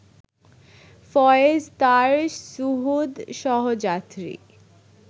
ফয়েজ তাঁর সুহূদ, সহযাত্রী